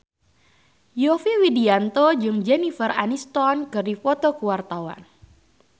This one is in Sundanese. Yovie Widianto jeung Jennifer Aniston keur dipoto ku wartawan